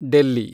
Delhi